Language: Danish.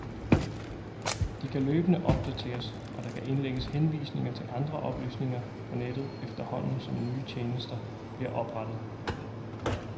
De kan løbende opdateres, og der kan indlægges henvisninger til andre oplysninger på nettet, efterhånden som nye tjenester bliver oprettet.